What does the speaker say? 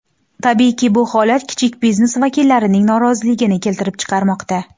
Tabiiyki, bu holat kichik biznes vakillarining noroziligini keltirib chiqarmoqda.